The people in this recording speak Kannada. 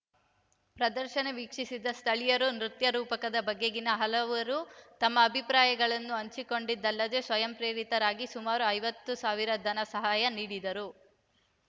ಪ್ರದರ್ಶನ ವೀಕ್ಷಿಸಿದ ಸ್ಥಳೀಯರು ನೃತ್ಯ ರೂಪಕದ ಬಗೆಗಿನ ಹಲವರು ತಮ್ಮ ಅಭಿಪ್ರಾಯಗಳನ್ನು ಹಂಚಿಕೊಂಡದ್ದಲ್ಲದೆ ಸ್ವಯಂ ಪ್ರೇರಿತರಾಗಿ ಸುಮಾರು ಐವತ್ತು ಸಾವಿರ ಧನ ಸಹಾಯ ನೀಡಿದರು